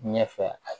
Ɲɛfɛ